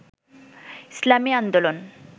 ইসলামী আন্দোলন